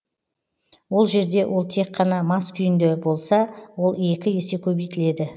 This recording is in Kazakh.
ол жерде ол тек қана мас күйінде болса ол екі есе көбейтіледі